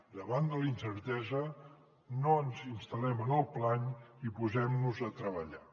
davant de la incertesa no ens instal·lem en el plany i posem nos a treballar